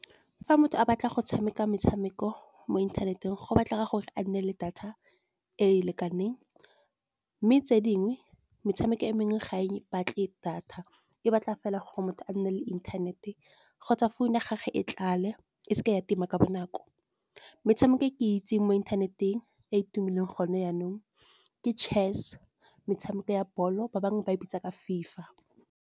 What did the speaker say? Fa motho a batla go tshameka metshameko mo inthaneteng, go batla gore a nne le data e e lekaneng. Mme tse dingwe, metshameko e mengwe ga e batle data. E batla fela gore motho a nne le internet kgotsa phone ya gage e tlale e seke ya tima ka bonako. Metshameko e ke itseng mo inthaneteng e e tumileng gone yanong ke chess, metshameko ya ball-o ba bangwe ba e bitsa ka FIFA.